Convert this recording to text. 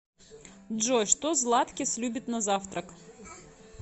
джой что златкис любит на завтрак